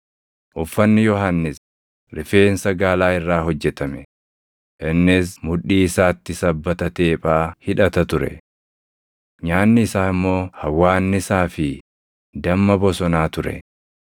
Uffanni Yohannis rifeensa gaalaa irraa hojjetame; innis mudhii isaatti sabbata teephaa hidhata ture. Nyaanni isaa immoo hawwaannisaa fi damma bosonaa ture.